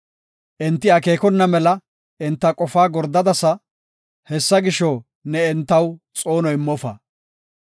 Enti akeekona mela enta qofaa gordadasa; Hessa gisho, ne entaw xoono immofa.